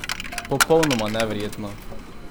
Popolnoma neverjetno!